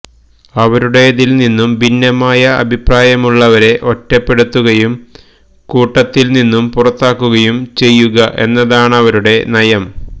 അവരുടെതില്നിന്നും ഭിന്നമായ അഭിപ്രായമുള്ളവരെ ഒറ്റപ്പെടുത്തുകയും കൂട്ടത്തില്നിന്നും പുറത്താക്കുകയും ചെയ്യുക എന്നതാണവരുടെ നയം